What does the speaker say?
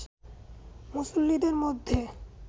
মুসল্লীদের মধ্যে